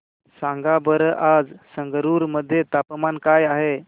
सांगा बरं आज संगरुर मध्ये तापमान काय आहे